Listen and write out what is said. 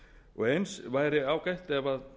og eins væri ágætt ef